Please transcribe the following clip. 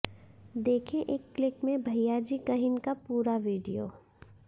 देखें एक क्लिक में भैयाजी कहिन का पूरा वीडियो